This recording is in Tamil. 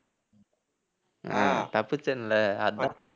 அஹ் தப்பிச்சேன்ல